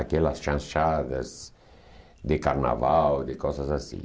Aquelas chanchadas de carnaval, de coisas assim.